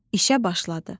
İşə başladı.